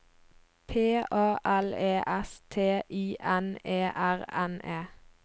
P A L E S T I N E R N E